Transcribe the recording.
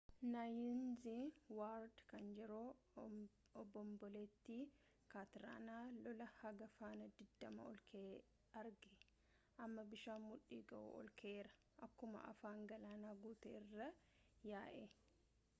naayinz waard kan yeroo obomboleettii katriinaa lolaa haga faana 20 olka'ee arge amma bishaan mudhii-ga'u olka'eera akkuma afaan galaanaa guutee irra yaa'e